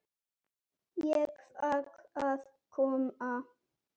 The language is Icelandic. Ég fékk að koma með.